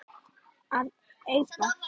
að eipa